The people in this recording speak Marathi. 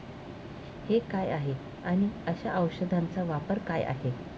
हे काय आहे आणि अशा औषधांचा वापर काय आहे?